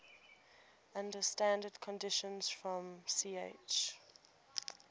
under standard conditions from ch